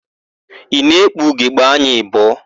Ị na-ekpu ugogbeanya abụọ?